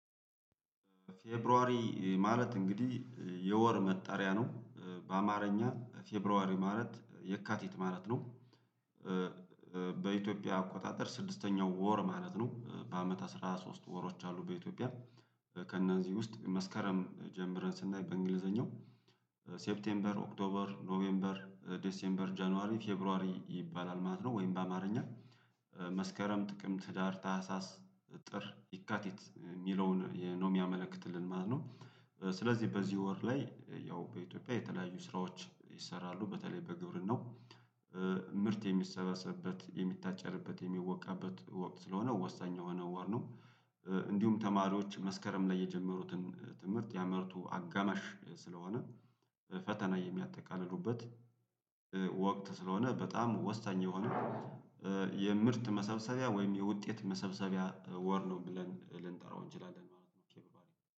ፌብሩዋሪ ማለት እንግዲህ የወር መጣሪያ ነው በአማርኛ ፌብሩዋሪ ማለት የካቲት ማለት ነው። በኢትዮጵያ አቆጣጠር ስድስተኛው ወር ማለት ነው በአመት አስራ ሶስት ወሮች አሉ። በኢትዮጵያ ከእነዚህ ውስጥ መስከረም ጀምረን ስናይ በእንግሊዘኛው ሴፕቴምበር ኦክቶበር ኖሜምበር ዲሴምበር ጀነዋሪ ፌብሩዋሪ ይባላል ማለት ነው። ወይም በአማርኛ መስከረም ጥቅም ህዳር ታህሳስ ጥር የካቲት እሚለውን ነው እሚያመለክትልን ማለት ነው። ስለዚህ በዚህ ወር ላይ ያው በኢትዮጵያ የተለያዩ ስራዎች ይሰራሉ በተለይ በግብርናው ምርት የሚሰበስብበት የሚታጨድበት የሚወቃበት ወቅት ስለሆ ወሳኝ የሆነ ወር ነው። ኧ እንዲሁም ተማሪዎች መስከረም ላይ የጀመሩትን ትምህርት የአመቱ አጋማሽ ስለሆነ ፈተና የሚያጠቃልሉበት ኧ ወቅት ስለሆነ በጣም ወሳኝ የሆነ። የምርት መሰብሰቢያ ወይም የውጤት መሰብሰቢያ ወር ነው ብለን ልንጠራው እንችላለን ማለት ነው።